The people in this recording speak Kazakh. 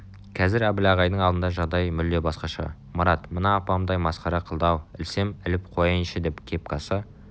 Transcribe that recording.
қазір әбіл ағайдың алдында жағдай мүлде басқаша марат мына апамды-ай масқара қылды-ау ілсем іліп қояйыншыдеп кепкасы